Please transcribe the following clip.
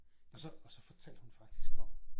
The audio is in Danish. Og så og så fortalte hun faktisk om